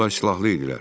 Onlar silahlı idilər.